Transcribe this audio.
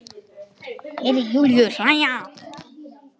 Heyri Júlíu hlæja.